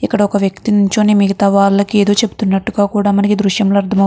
ఇక్కడ ఒక వ్యక్తి నించుని మిగితా వాళ్ళకి ఏదో చెప్తునట్టుగా కూడా మనకి ఈ దృశ్యంలో అర్థం --